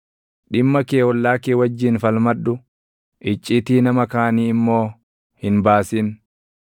Dhimma kee ollaa kee wajjin falmadhu; iccitii nama kaanii immoo hin baasin;